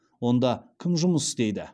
онда кім жұмыс істейді